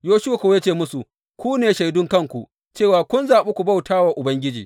Yoshuwa kuwa ya ce musu, Ku ne shaidun kanku cewa kun zaɓi ku bauta wa Ubangiji.